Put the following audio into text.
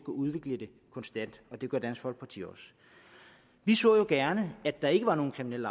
udvikle det konstant og det gør dansk folkeparti også vi så jo gerne at der ikke var nogen kriminel